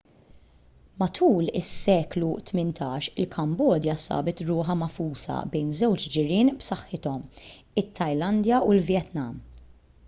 matul is-seklu 18 il-kambodja sabet ruħha magħfusa bejn żewġ ġirien b'saħħithom it-tajlandja u l-vjetnam